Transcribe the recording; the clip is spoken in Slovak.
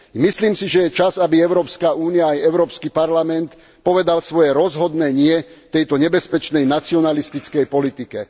Myslím si, že je čas, aby Európska únia aj Európsky parlament povedali svoje rozhodné nie tejto nebezpečnej nacionalistickej politike.